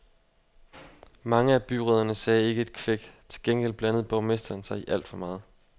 Mange af byrødderne sagde ikke et kvæk, til gengæld blandede borgmesteren sig i alt for meget.